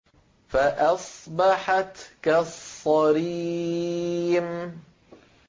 فَأَصْبَحَتْ كَالصَّرِيمِ